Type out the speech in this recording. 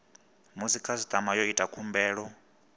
musi khasitama yo ita khumbelo